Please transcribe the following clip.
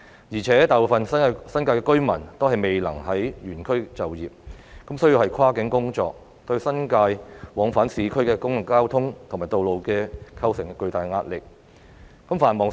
而且，大部分新界居民均未能原區就業，需要跨區工作，對新界往返市區的公共交通及道路構成巨大壓力。